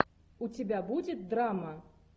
у тебя будет драма